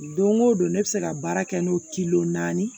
Don o don ne bɛ se ka baara kɛ n'o naani ye